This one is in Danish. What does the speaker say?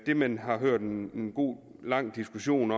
det man har hørt en god lang diskussion